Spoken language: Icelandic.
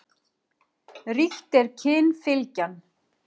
Ríkt er kynfylgjan.